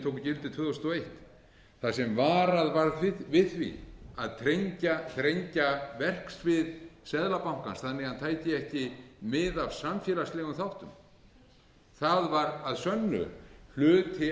gildi tvö þúsund og eitt þar sem varað var við því að þrengja verksvið seðlabankans þannig að hann tæki ekki mið af samfélagslegum þáttum það var að sönnu hluti